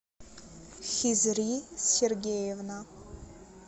хизри сергеевна